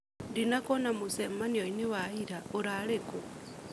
Ndinakuona mũcemanio-inĩ wa ira, urarĩ kũ?